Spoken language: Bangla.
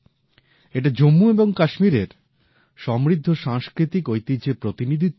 এটা জম্মু এবং কাশ্মীরের সমৃদ্ধ সাংস্কৃতিক ঐতিহ্যের প্রতিনিধিত্ব করে